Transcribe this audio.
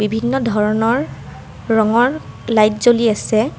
বিভিন্ন ধৰণৰ ৰঙৰ লাইট জ্বলি আছে।